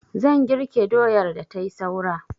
Zan girke doyar da tai saura.